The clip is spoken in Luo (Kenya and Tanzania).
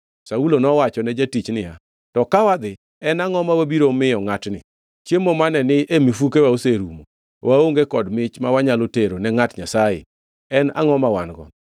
Saulo nowachone jatich niya, “To ka wadhi, en angʼo ma wabiro miyo ngʼatni? Chiemo mane ni e mifukewa oserumo. Waonge kod mich ma wanyalo tero ne ngʼat Nyasaye. En angʼo ma wan-go?”